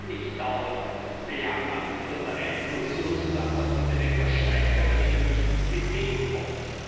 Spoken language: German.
Man kann nicht dauernd bejammern, dass der Einfluss Russlands auf diese Länder steigt, wenn man ihnen nicht entgegenkommt.